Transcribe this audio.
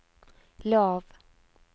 lav